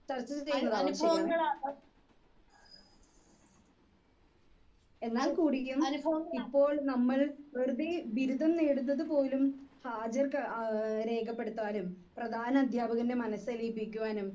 speaker 2 ചർച്ച ചെയിണ്ടാവാം ശരിയാണ് എന്നാൽ കൂടിയും ഇപ്പോൾ നമ്മൾ വെറുതെ ബിരുദം നേടുന്നത് പോലും ഹാജർ ക്ക ഏഹ് രേഖപ്പെടുത്താനും പ്രധാന അധ്യാപകന്റെ മനസ് അലീപിക്കുവാനും